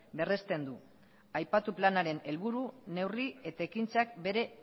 berresten du aipatu planaren helburu neurri eta ekintzak bere